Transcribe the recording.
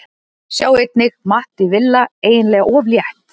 Sjá einnig: Matti Villa: Eiginlega of létt